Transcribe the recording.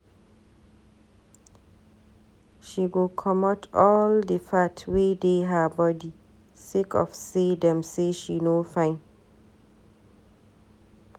She go comot all di fat wey dey her bodi sake of say dem say she no fine.